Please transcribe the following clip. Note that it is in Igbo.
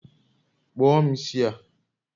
kpụọ m isi a